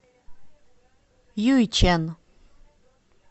юйчэн